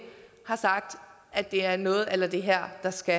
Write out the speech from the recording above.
har sagt at det er noget a la det her der skal